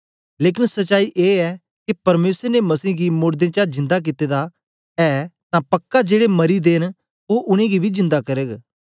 लेकन सच्चाई ए ऐ के परमेसर ने मसीह गी मोड़दें चा जिंदा कित्ते दा गेदा ऐ तां पक्का जेड़े मरी दे न ओ उनेंगी बी जिंदा करग